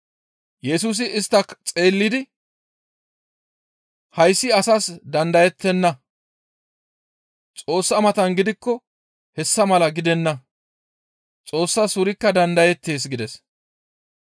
Yesusi istta xeellidi, «Hayssi asas dandayettenna; Xoossa matan gidikko hessa mala gidenna. Xoossas wurikka dandayettees» gides.